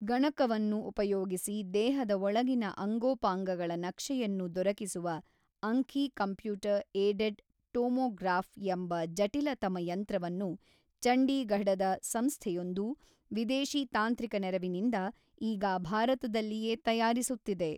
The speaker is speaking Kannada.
ಗಣಕವನ್ನು ಉಪಯೋಗಿಸಿ ದೇಹದ ಒಳಗಿನ ಅಂಗೋಪಾಂಗಗಳ ನಕ್ಷೆಯನ್ನು ದೊರಕಿಸುವ ಅಂಖಿ ಕಂಪ್ಯೂಟರ್ ಏಡೆಡ್ ಟೋಮೊಗ್ರಾಫ್ ಎಂಬ ಜಟಿಲತಮ ಯಂತ್ರವನ್ನು ಚಂಡೀಘಡದ ಸಂಸ್ಥೆಯೊಂದು ವಿದೇಶೀ ತಾಂತ್ರಿಕ ನೆರವಿನಿಂದ ಈಗ ಭಾರತದಲ್ಲಿಯೇ ತಯಾರಿಸುತ್ತಿದೆ.